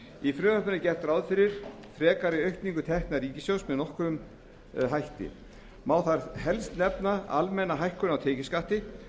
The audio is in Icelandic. í frumvarpinu er gert ráð fyrir frekari aukningu tekna ríkissjóðs með nokkrum hætti má þar helst nefna almenna hækkun á tekjuskatti